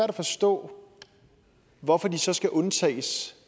at forstå hvorfor de så skal undtages